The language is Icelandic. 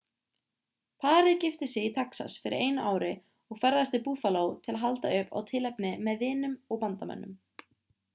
parið gifti sig í texas fyrir einu ári og ferðaðist til buffalo til að halda upp á tilefnið með vinum og vandamönnum